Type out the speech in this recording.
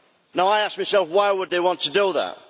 Now I ask myself, why would they want to do that?